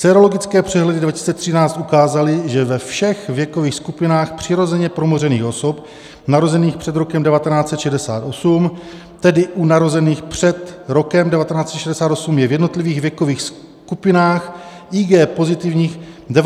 Sérologické přehledy 2013 ukázaly, že ve všech věkových skupinách přirozeně promořených osob narozených před rokem 1968, tedy u narozených před rokem 1968, je v jednotlivých věkových skupinách IgG pozitivních 97 až 99 % osob.